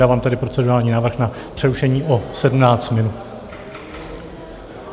Dávám tedy procedurální návrh na přerušení o 17 minut.